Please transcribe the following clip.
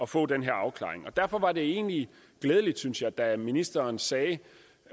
få den her afklaring derfor var det egentlig glædeligt synes jeg da ministeren sagde